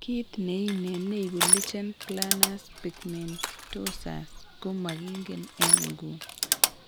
Kit ne inei neibu lichen planus pigmentosus ko magingen en nguni